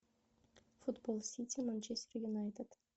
футбол сити манчестер юнайтед